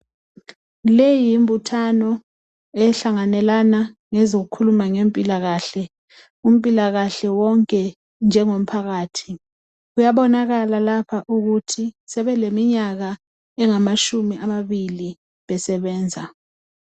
Leyi yimbuthano ehlanganelana ngezokukhuluma ngempilakahle umpilakahle wonke njengomphakathi kuyabonakala lapha sebeleminyaka engamatshumi amabili besebenza .